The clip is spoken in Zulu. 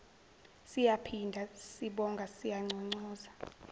siyaphinda sibonga siyanconcoza